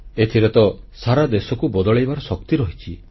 ଏଥିରେ ତ ସାରା ଦେଶକୁ ବଦଳାଇବାର ଶକ୍ତି ରହିଛି